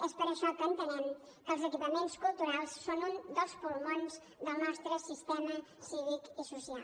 és per això que entenem que els equipaments culturals són un dels pulmons del nostre sistema cívic i social